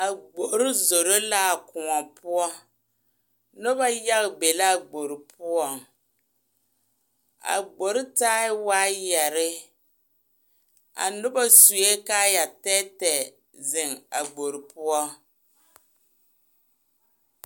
A gboroo zoroo la a koɔbo noba yaga be a gboroo poɔ a gboroo taa waayɛrɛ a noba sue kaayɛ tɛɛtɛɛ zeŋ a gboroo poɔ.